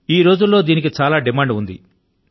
ఈ కాలం లో దీనికి చాలా డిమాండ్ ఉంది